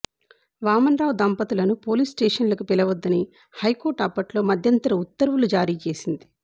వామన్రావు దంపతులను పోలీసు స్టేషన్లకు పిలవొద్దని హైకోర్టు అప్పట్లో మధ్యంతర ఉత్తర్వులు జారీ చేసింది